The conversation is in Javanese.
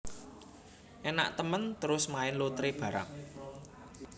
Enak temen terus main lotre barang